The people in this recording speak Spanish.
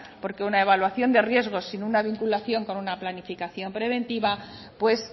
porque una evaluación de riesgos sin una vinculación con una planificación preventiva pues